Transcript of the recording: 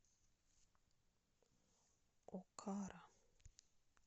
окара